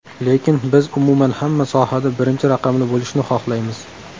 Lekin biz umuman hamma sohada birinchi raqamli bo‘lishni xohlaymiz.